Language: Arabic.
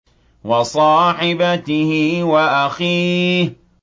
وَصَاحِبَتِهِ وَأَخِيهِ